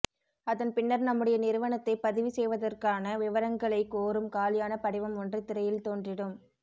அதன்பின்னர் நம்முடைய நிறுவனத்தை பதிவுசெய்தவதற்கான விவரங்களை கோரும் காலியான படிவம் ஒன்று திரையில் தோன்றிடும்